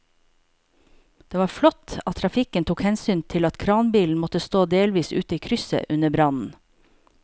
Det var flott at trafikken tok hensyn til at kranbilen måtte stå delvis ute i krysset under brannen.